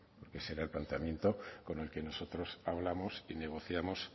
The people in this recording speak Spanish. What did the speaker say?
ese era el planteamiento con el que nosotros hablamos y negociamos